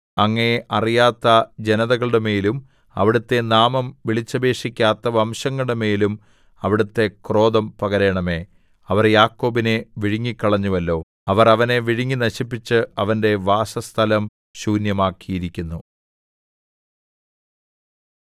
അങ്ങയെ അറിയാത്ത ജനതകളുടെമേലും അവിടുത്തെ നാമം വിളിച്ചപേക്ഷിക്കാത്ത വംശങ്ങളുടെമേലും അവിടുത്തെ ക്രോധം പകരണമേ അവർ യാക്കോബിനെ വിഴുങ്ങിക്കളഞ്ഞുവല്ലോ അവർ അവനെ വിഴുങ്ങി നശിപ്പിച്ച് അവന്റെ വാസസ്ഥലം ശൂന്യമാക്കിയിരിക്കുന്നു